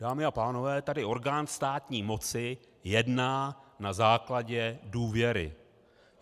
Dámy a pánové, tady orgán státní moci jedná na základě důvěry.